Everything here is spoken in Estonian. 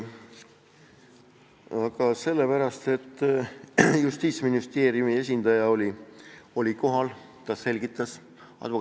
Aga sellepärast, et Justiitsministeeriumi esindaja oli kohal ja selgitas ministeeriumi seisukohta.